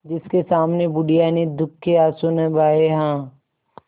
जिसके सामने बुढ़िया ने दुःख के आँसू न बहाये हां